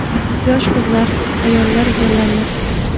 Yosh qizlar, ayollar zo‘rlandi.